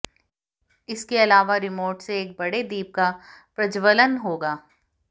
इसके अलावा रिमोट से एक बड़े दीप का प्रज्ज्वलन होगा